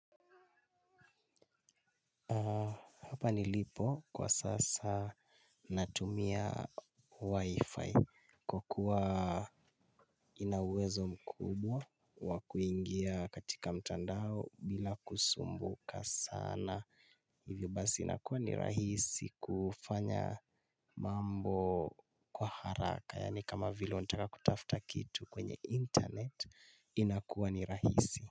Hapa nilipo kwa sasa natumia wifi kwa kuwa ina uwezo mkubwa wa kuingia katika mtandao bila kusumbuka sana. Hivyo basi inakuwa ni rahisi kufanya mambo kwa haraka. Yaani kama vile unataka kutafta kitu kwenye internet inakuwa ni rahisi.